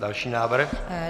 Další návrh.